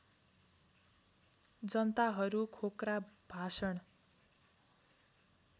जनताहरू खोक्रा भाषण